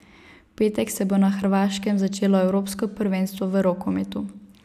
V petek se bo na Hrvaškem začelo evropsko prvenstvo v rokometu.